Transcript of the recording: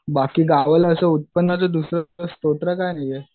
बाकी गावाला असं उत्पन्नाचं दुसरं काही नाहीये